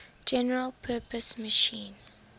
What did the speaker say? general purpose machine